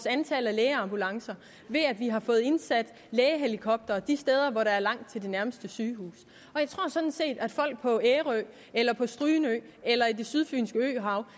antallet af lægeambulancer ved at vi har fået indsat lægehelikoptere de steder hvor der er langt til det nærmeste sygehus og jeg tror sådan set at folk på ærø eller strynø eller i det sydfynske øhav